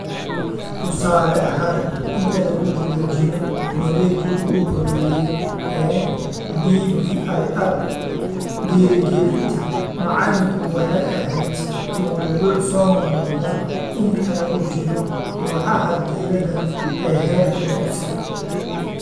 Tusaale ahaan, inta lagu guda jiro wareeggii ugu horreeyay ee DBIR, dhiirigelinta macalinku waxay ahayd mawduuc soo noqnoqda inta lagu jiro kooxaha diirada ee heerka dugsiga